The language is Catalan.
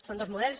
són dos models